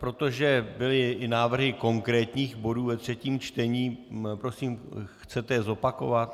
Protože byly i návrhy konkrétních bodů ve třetím, čtení, prosím, chcete je zopakovat?